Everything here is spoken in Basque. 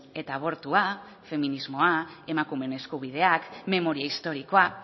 eta abortua feminismoa emakumeen eskubideak memoria historikoa